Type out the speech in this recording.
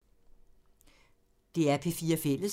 DR P4 Fælles